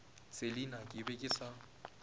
selina ke be ke sa